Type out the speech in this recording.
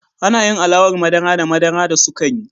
Ana yin alawar madara da madara da sukari.